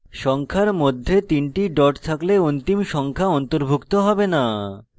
সংখ্যার মধ্যে 3 the dot থাকলে অন্তিম সংখ্যা অন্তর্ভুক্ত have the